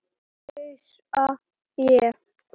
hnussa ég.